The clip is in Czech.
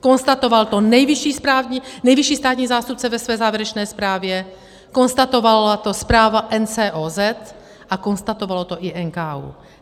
Konstatoval to nejvyšší státní zástupce ve své závěrečné zprávě, konstatovala to zpráva NCOZ a konstatoval to i NKÚ.